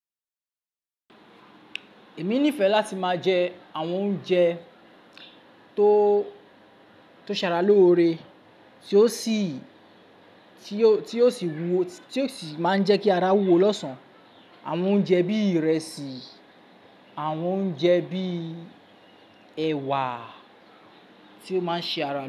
Èmi nífẹ̀ẹ́ láti máa jẹ àwọn oúnjẹ tó, tó ṣara lóore, tí ó sì, tí ó, tí ó sì wúwo, tí ó sì máa ń jẹ́ kí ara wúwo lọ́sàn-án. Àwọn oúnjẹ bí ìrẹsì, àwọn oúnjẹ bí ẹ̀wà tí ó máa ń ṣe ara.